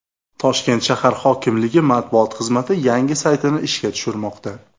Toshkent shahar hokimligi Matbuot xizmati yangi saytini ishga tushirmoqda.